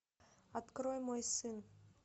открой мой сын